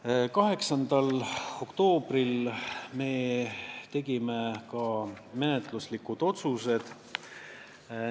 Me tegime 8. oktoobril ka järgmised menetluslikud otsused.